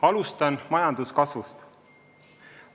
Alustan majanduskasvust.